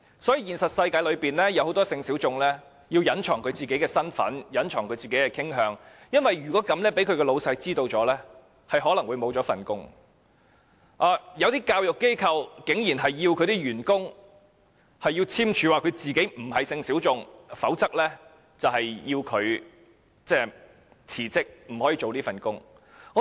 所以，在現實世界中，很多性小眾須隱藏其身份和傾向，因為萬一被他的上司發現，他有可能會失去工作，有些教育機構甚至要求員工簽署文件，聲明自己並非性小眾，否則便須辭職，不可以繼續工作。